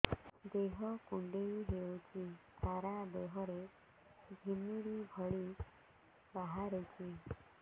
ଦେହ କୁଣ୍ଡେଇ ହେଉଛି ସାରା ଦେହ ରେ ଘିମିରି ଭଳି ବାହାରୁଛି